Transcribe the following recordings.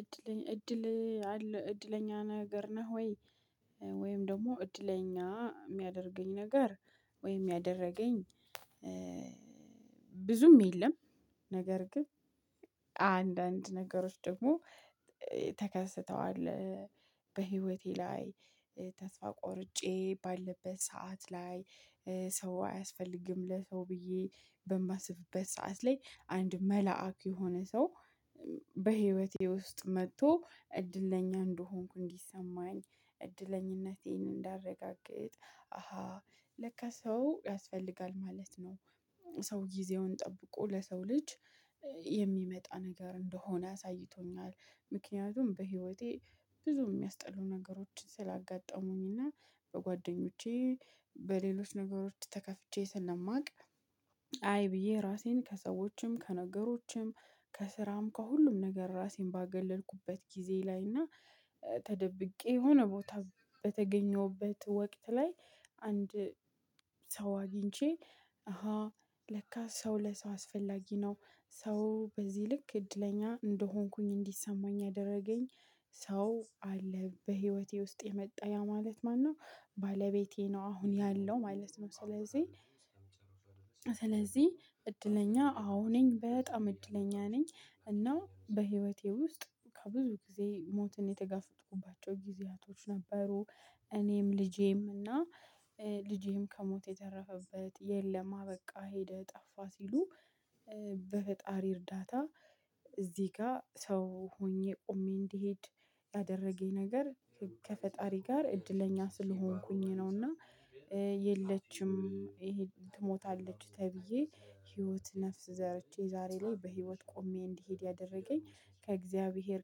እድል እድል አለ እድለኛ ነገር ነህ ወይ? ወይም ደግሞ እድለኛ የሚያደርገኝ ነገር ወይም ያደረገኝ ብዙም የለም። ነገር ግን አንዳንድ ነገሮች ደግሞ ተከስተዋል። በሂወቴ ላይ ተስፋ ቆርጬ ባለበት ሰዓት ላይ ሰው አያስፈልግም ለሰው ብዬ በማስብበት ሰዓት ላይ አንድ መልአክ የሆነ ሰው በህይወቴ ውስጥ መጥቶ እድለኛ እንደሆንኩ እንዲሰማኝ እድለኝነቴን እንዳረጋግጥ አሃ ለካ ሰው ያስፈልጋል ማለት ነው። ሰው ጊዜውን ጠብቆ ለሰው ልጅ የሚመጣ ነገር እንደሆነ አሳይቶኛል። ምክንያቱም በህይወቴ ብዙ የሚያስጠሉ ነገሮችን ስላጋጠሙኝና በጓደኞቼ በሌሎች ነገሮች ተከፍቼ ስለማቅ። አይ ብዬ ራሴን ከሰዎችም ከነገሮችም ከስራም ከሁሉም ነገር ራሴን ባገለልኩበት ጊዜ ላይ እና ተደብቄ የሆነ ቦታ በተገኘሁበት ወቅት ላይ አንድ ሰው አግኝቼ አሃ ለካ ሰው ለሰው አስፈላጊ ነው። ሰው በዚህ ልክ እድለኛ እንደሆንኩኝ እንዲሰማኝ ያደረገኝ ሰው አለ በህይወቴ ውስጥ የመጣ ያ ማለት ማነው? ባለቤቴ ነው አሁን ያለው ማለት ነው። ስለዚህ እድለኛ አዎ ነኝ በጣም እድለኛ ነኝ። እና በህይወቴ ውስጥ ከብዙ ጊዜ ሞትን የተጋፈጥኩባቸው ጊዜያቶች ነበሩ። እኔም ልጄም እና ልጄም ከሞት የተረፈበት የለም አበቃ ሄደ ጠፋ ሲሉ በፈጣሪ እርዳታ እዚህ ጋር ሰው ሆኜ ቆሜ እንድሄድ ያደረገኝ ነገር ከፈጣሪ ጋር እድለኛ ስለሆንኩኝ ነውና። የለችም ትሞታለች ተብዬ ህይወት ነፍስ ዘርቼ ዛሬ ላይ በህይወት ቆሜ እንድሄድ ያደረገኝ ከእግዚአብሔር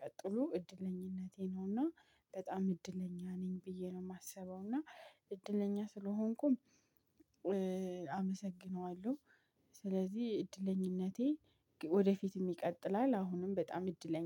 ቀጥሎ እድለኝነቴ ነውና። በጣም እድለኛ ነኝ ብዬ ነው የማስበው። እና እድለኛ ስለሆንኩም አመሰግነዋለሁ። ስለዚህ እድለኝነቴ ወደፊትም ይቀጥላል አሁንም በጣም እድለኛ